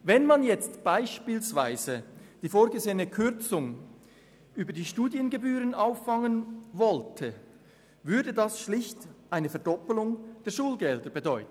Wenn man jetzt beispielsweise die vorgesehene Kürzung ausschliesslich über die Studiengebühren auffangen wollte, würde das schlicht eine Verdoppelung der Schulgelder bedeuten.